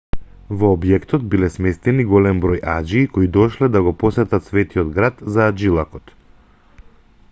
во објектот биле сместени голем број аџии кои дошле да го посетат светиот град за аџилакот